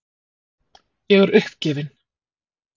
Ég er uppgefin.